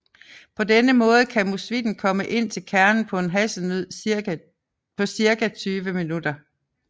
På denne måde kan musvitten komme ind til kernen på en hasselnød på cirka 20 minutter